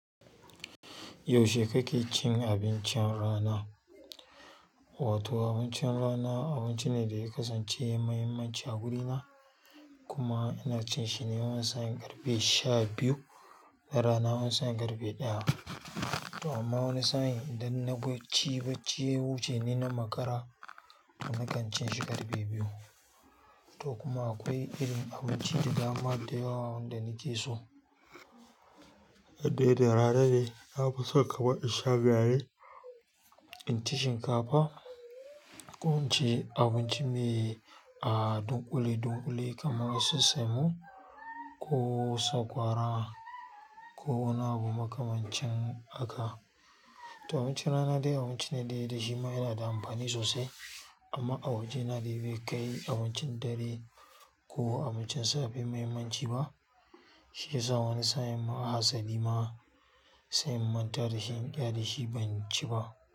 Yaushe kake cin abincin rana? Wato abincin rana abinci ne da ya kasance mai mahimmanci a gurina kuma ina cin shine wani sa'in ƙarfe sha biyu da rana wani sa'in ƙarfe ɗaya. To amma wani sa'in idan na bacci bacci ya wuce ni na makara to na kan cin shi ƙarfe biyu. To kuma akwai irin abinci da dama da yawa wanda nake so. Indai da rana ne nafison kamar insha gari inci shinkafa ko inci abinci mai a dunƙule dunƙule kamar su semo ko sakwara ko wani abu makamancin haka. To abincin rana dai abinci ne da shima yana da amfani sosai amma a wajena bai kai abincin dare ko abincin safe mahimmanci ba. Shiyasa wani sa'in ma hasali ma sai in manta dashi in ƙyale shi ban ci ba.